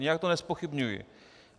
Nijak to nezpochybňuji.